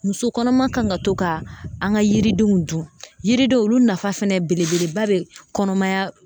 Muso kɔnɔma kan ka to ka an ka yiridenw dun yiridenw olu nafa fɛnɛ belebeleba bɛ kɔnɔmaya